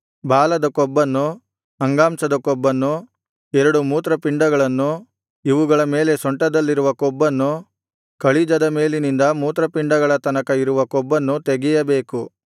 ಬಾಲದ ಕೊಬ್ಬನ್ನು ಅಂಗಾಂಶದ ಕೊಬ್ಬನ್ನು ಎರಡು ಮೂತ್ರಪಿಂಡಗಳನ್ನು ಇವುಗಳ ಮೇಲೆ ಸೊಂಟದಲ್ಲಿರುವ ಕೊಬ್ಬನ್ನು ಕಳಿಜದ ಮೇಲಿನಿಂದ ಮೂತ್ರಪಿಂಡಗಳ ತನಕ ಇರುವ ಕೊಬ್ಬನ್ನು ತೆಗೆಯಬೇಕು